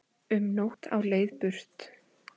Um nótt á leið burt